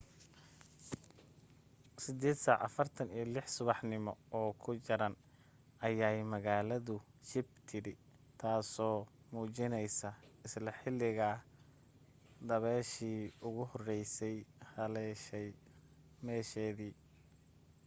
8:46 subaxnimo oo ku jaran ayay magaaladu shib tidhi taaso muujinaysa isla xilliga dabayshii ugu horraysay haleeshay meesheedii